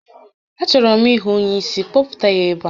A chọrọ m ịhụ onye isi, kpọta ya n'ebe a!